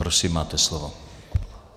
Prosím, máte slovo.